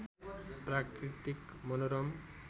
प्राकृतिक मनोरम